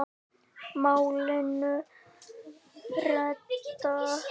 Málinu reddað.